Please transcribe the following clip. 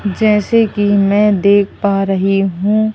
जैसे कि मैं देख पा रही हूं--